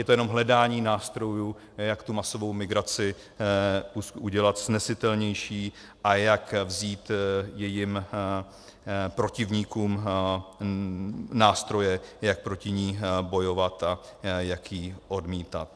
Je to jenom hledání nástrojů, jak tu masovou migraci udělat snesitelnější a jak vzít jejím protivníkům nástroje, jak proti ní bojovat a jak ji odmítat.